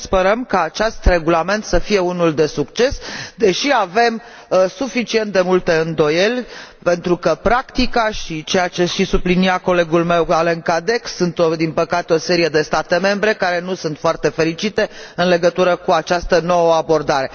Sperăm ca acest regulament să fie unul de succes, deși avem suficient de multe îndoieli, pentru că în practică, așa cum sublinia și colegul meu, Alain Cadec, sunt din păcate o serie de state membre care nu sunt foarte fericite în legătură cu această nouă abordare.